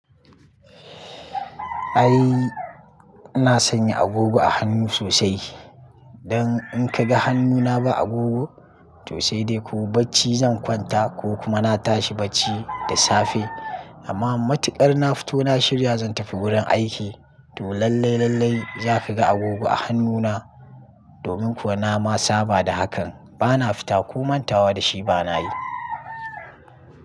Ai ina sanya agogo a hannu sosai. Dan in ka ga hannuna ba agogo to sai dai ko bacci zan kwanta ko kuma na tashi bacci da safe. Amma matukar na fito na shirya zan tafi wurin aiki to lallai lallai zaka ga agogo a hannuna. Domin kuwa na ma saba da hakan bana fita ko mantawa da shi bana yi.